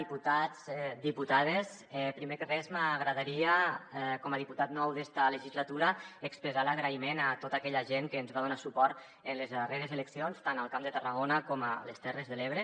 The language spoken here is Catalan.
diputats diputades primer de res m’agradaria com a diputat nou d’esta legislatura expressar l’agraïment a tota aquella gent que ens va donar suport en les darreres eleccions tant al camp de tarragona com a les terres de l’ebre